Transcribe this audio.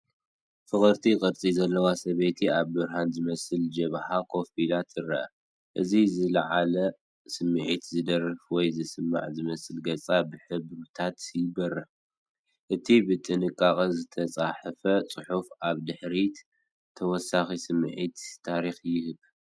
ፍቕርቲ ቅርጺ ዘለዋ ሰበይቲ ኣብ ብርሃን ዝመልአ ጀብሃ ኮፍ ኢላ ትርአ። እቲ ብዝለዓለ ስምዒት ዝደርፍ ወይ ዝሰምዕ ዝመስል ገጻ ብሕብርታት ይበርህ። እቲ ብጥንቃቐ ዝተጻሕፈ ጽሑፍ ኣብ ድሕሪት ተወሳኺ ስምዒት ታሪኽ ይህብ።